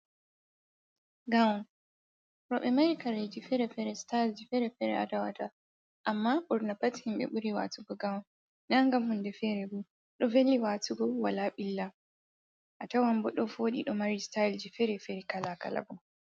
Gawun, roɓe mari kare ji fere-fere stayel ji fere-fere atawata, amma ɓurnapat himɓe ɓuri watugo gawun nagam hundefere bo ɗo veli watugo wala ɓilla, a tawan bo ɗo voɗi ɗo mari stayel ji fere fere kala kalabo.